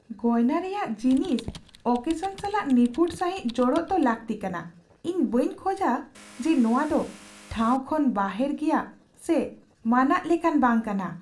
ᱜᱚᱭᱱᱟ ᱨᱮᱭᱟᱜ ᱡᱤᱱᱤᱥ ᱳᱠᱮᱥᱚᱱ ᱥᱟᱞᱟᱜ ᱱᱤᱯᱷᱩᱴ ᱥᱟᱹᱦᱤᱡ ᱡᱚᱲᱚᱜ ᱫᱚ ᱞᱟᱹᱠᱛᱤ ᱠᱟᱱᱟ, ᱤᱧ ᱵᱟᱹᱧ ᱠᱷᱚᱡᱟ ᱡᱮ ᱱᱚᱣᱟ ᱫᱚ ᱴᱷᱟᱣ ᱠᱷᱚᱱ ᱵᱟᱦᱮᱨ ᱜᱮᱭᱟ ᱥᱮ ᱢᱟᱱᱟᱜ ᱞᱮᱠᱟᱱ ᱵᱟᱝ ᱠᱟᱱᱟ ᱾